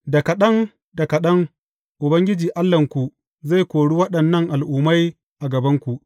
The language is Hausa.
Da kaɗan da kaɗan Ubangiji Allahnku zai kore waɗannan al’ummai a gabanku.